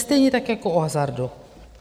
Stejně tak jako o hazardu.